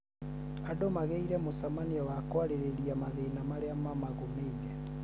andũ magĩire mũcemanio wa kwarĩrĩria mathĩna marĩa mamagũmĩire